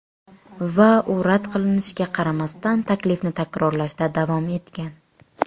Va u rad qilishiga qaramasdan, taklifni takrorlashda davom etgan.